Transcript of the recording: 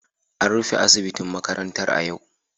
An rufe asibitin makarantar a yau